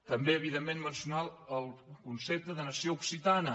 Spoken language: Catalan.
també evidentment mencionar el concepte de nació occitana